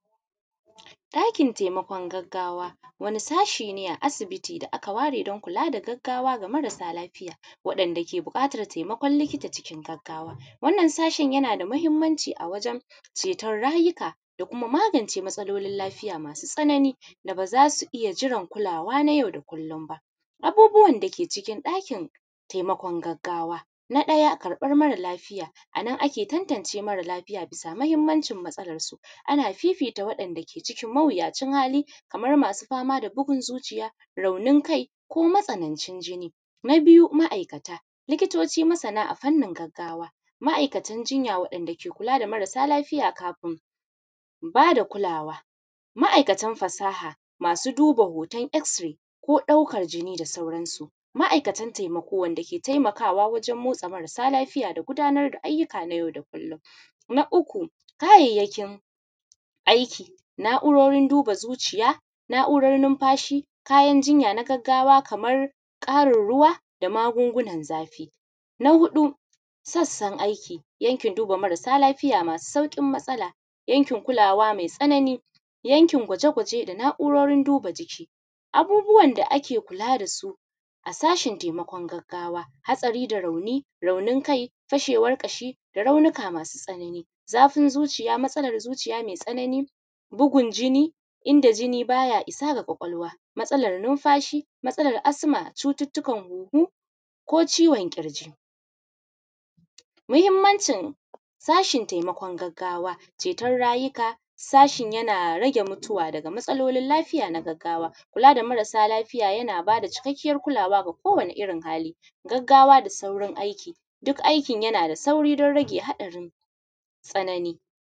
Ɗakin taimakon gaggawa, wani sashi ne a asibiti da aka ware don kula da gaggawa ga marasa lafiya, waɗanda ke buƙatan taimakon likita cikin gaggawa. Wannan sashin yana da muhimmanci a wajen ceton rayuka, da kuma magance matsalolin lafiya masu tsanani da ba za su iya jiran kulawa na yau da kullum ba. Abubuwan da ke cikin ɗakin taimakon gaggawa. Na ɗaya, Karɓar mara lafiya, a nan ake tantance mara lafiya bisa muhimmancin matsalarsu. Ana fifita waɗanda ke cikin mawuyacin hali, kamar masu fama da bugun zuciya, raunin kai, ko matsanancin jini. Na biyu, ma'aikata. Likitoci masana a fannin gaggawa, ma'aikatan jinya waɗanda ke kula da marasa lafiya kafin ba da kulawa, ma'aikatan fasaha, masu duba hoton x-ray, ko ɗaukar jini da sauransu. Ma'aikatan taimako wanda ke taimakawa wajen motsa marasa lafiya da gudanar da ayyuka na yau da kullum. Na uku. Kayayyakin aiki, na'urorin duba zuciya, na'urorin numfashi, kayan jinya na gaggawa kamar ƙarin ruwa da magungunan zafi. Na huɗu. Sassan aiki, yankin duba marasa lafiya masu sauƙin matsala, yankin kulawa mai tsanani, yankin gwaje-gwaje da na'urorin duba jiki. Abubuwan da ake kula da su a sashen taimakon gaggawa, hatsari da rauni; raunin kai; fashewar ƙashi; da raunuka masu tsanani. Zafin zuciya; matsalar zuciya mai tsanani; bugun jini inda jini ba ya isa ga ƙwaƙwalwa; matsalar numfashi; matsalar asma a cututtukan huhu ko ciwon ƙirji. Muhimmancin sashen taimakon gaggawa, ceton rayuka, sashin yana rage mutuwa daga matsalolin lafiya na gaggawa. Kula da marasa lafiya yana ba da cikakkiyar kulawa ga kowane irin hali, gaggawa da saurin aiki, duk aikin yana da sauri don rage haɗarin tsanani.